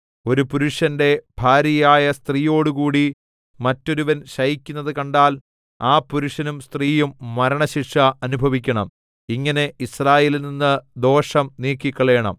ഒരു പുരുഷന്റെ ഭാര്യയായ സ്ത്രീയോടുകൂടി മറ്റൊരുവൻ ശയിക്കുന്നത് കണ്ടാൽ ആ പുരുഷനും സ്ത്രീയും മരണശിക്ഷ അനുഭവിക്കണം ഇങ്ങനെ യിസ്രായേലിൽനിന്ന് ദോഷം നീക്കിക്കളയണം